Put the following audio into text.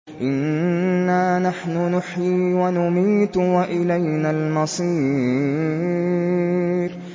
إِنَّا نَحْنُ نُحْيِي وَنُمِيتُ وَإِلَيْنَا الْمَصِيرُ